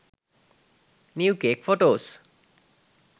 new cake photos